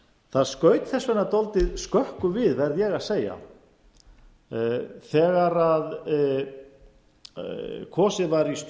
það skaut þess vegna dálítið skökku við verð ég að segja þegar kosið var